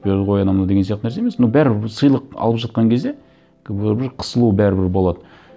берді ғой анау мынау деген сияқты нәрсе емес но бәрібір сыйлық алып жатқан кезде бәрібір қысылу бәрібір болады